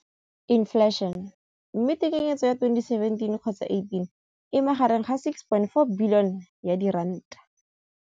Infleišene, mme tekanyetsokabo ya 2017, 18, e magareng ga R6.4 bilione.